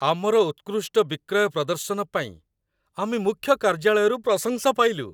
ଆମର ଉତ୍କୃଷ୍ଟ ବିକ୍ରୟ ପ୍ରଦର୍ଶନ ପାଇଁ ଆମେ ମୁଖ୍ୟ କାର୍ଯ୍ୟାଳୟରୁ ପ୍ରଶଂସା ପାଇଲୁ।